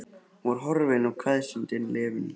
Hún var horfin og kveðjustundin liðin hjá.